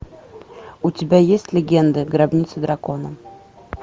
у тебя есть легенды гробница дракона